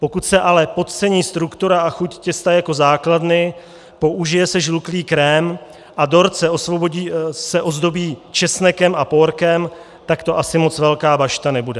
Pokud se ale podcení struktura a chuť těsta jako základny, použije se žluklý krém a dort se ozdobí česnekem a pórkem, tak to asi moc velká bašta nebude.